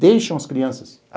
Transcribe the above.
Deixam as crianças.